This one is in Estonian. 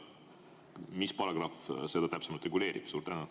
Mis paragrahv seda täpsemalt reguleerib?